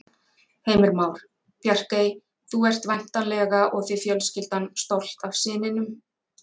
Heimir Már: Bjarkey, þú ert væntanlega og þið fjölskyldan stolt af syninum?